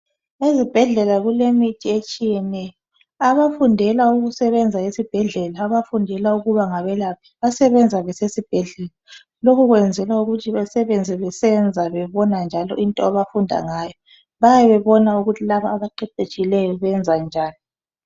Ezibhedlela kulemithi etshiyeneyo abafundela ukusebenza esibhedlela, abafundela ukuba ngabelaphi, abasebenza besesibhedlela lokhu kwenzelwa ukuthi besebenze besenza bebona njalo into abafunda ngayo bayabe bebona ukuthi labo abaqeqetshileyo benza njani.